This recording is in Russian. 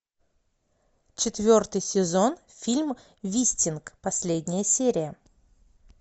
четвертый сезон фильм вистинг последняя серия